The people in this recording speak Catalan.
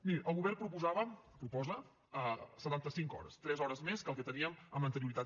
miri el govern proposava proposa setanta cinc hores tres hores més que el que teníem amb anterioritat